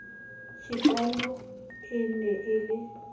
chikano e ne e le